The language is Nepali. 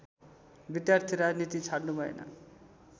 विद्यार्थी राजनीति छाड्नुभएन